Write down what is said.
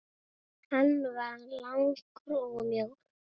Hann var langur og mjór.